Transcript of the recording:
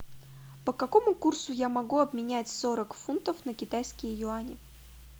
по какому курсу я могу обменять сорок фунтов на китайские юани